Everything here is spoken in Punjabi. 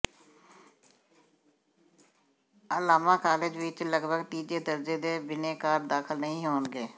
ਆਲਾਮਾ ਕਾਲਜ ਵਿੱਚ ਲਗਭਗ ਤੀਜੇ ਦਰਜੇ ਦੇ ਬਿਨੈਕਾਰ ਦਾਖਲ ਨਹੀਂ ਹੋਣਗੇ